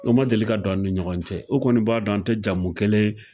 O ma deli ka dɔn an ni ɲɔgɔn cɛ u kɔni b'a dɔn an tɛ jamu kelen